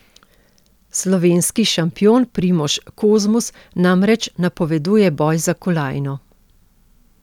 Slovenski šampion Primož Kozmus namreč napoveduje boj za kolajno.